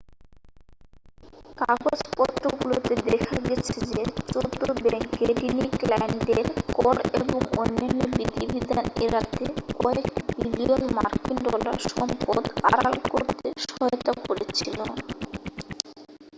কাগজপত্রগুলোতে দেখা গেছে যে চৌদ্দ ব্যাংকে ধনী ক্লায়েন্টদের কর এবং অন্যান্য বিধিবিধান এড়াতে কয়েক বিলিয়ন মার্কিন ডলার সম্পদ আড়াল করতে সহায়তা করেছিল